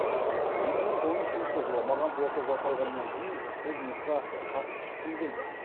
екі мың он үшінші жылы маған ота жасалғаннан кейін бұл жұмысқа қатты шыққым келді